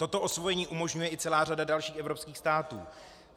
Toto osvojení umožňuje i celá řada dalších evropských států.